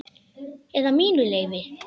Eða mínu leyfi.